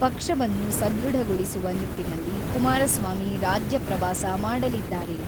ಪಕ್ಷವನ್ನು ಸುಧೃಡಗೊಳಿಸುವ ನಿಟ್ಟಿನಲ್ಲಿ ಕುಮಾರಸ್ವಾಮಿ ರಾಜ್ಯ ಪ್ರವಾಸ ಮಾಡಲಿದ್ದಾರೆ.